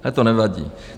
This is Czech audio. Ale to nevadí.